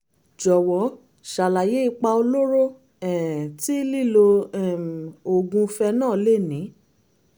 jọ̀wọ́ ṣàlàyé ipa olóró um tí lílo um oògùn phenol lè ní